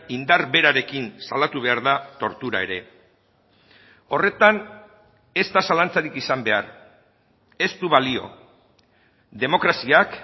indar berarekin salatu behar da tortura ere horretan ez da zalantzarik izan behar ez du balio demokraziak